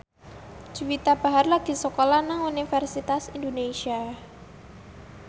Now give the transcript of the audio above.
Juwita Bahar lagi sekolah nang Universitas Indonesia